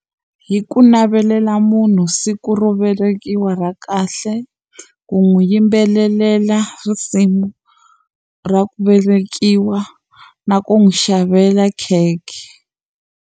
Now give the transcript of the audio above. Hi ku navelela munhu siku ro velekiwa ra kahle u n'wi yimbelelela risimu ra ku velekiwa na ku n'wi xavela khekhe.